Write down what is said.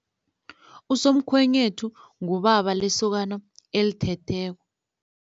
Usomkhwenyethu ngubaba lesokano elithetheko.